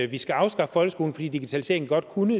vi skal afskaffe folkeskolen fordi digitaliseringen godt kunne